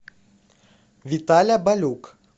виталя балюк